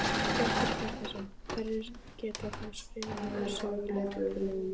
Hjörtur Hjartarson: Hverjir geta þá skrifað niður sögulega atburði?